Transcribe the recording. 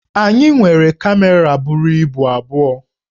Anyị nwere kamera buru ibu abụọ